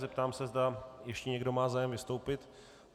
Zeptám se, zda ještě někdo má zájem vystoupit.